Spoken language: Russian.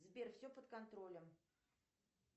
сбер все под контролем